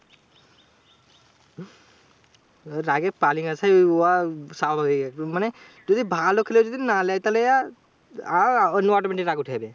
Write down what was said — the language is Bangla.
রাগে পালিয়ে গেল। সেই ওয়া স্বাভাবিক মানে, যদি ভালো খেলে যদি না লেয় থালে আর, আর automatically রাগ উঠে যাবে।